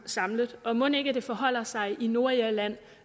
samlet og mon ikke det forholder sig i nordirland